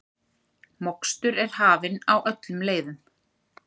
Mokstur er hafin á öllum leiðum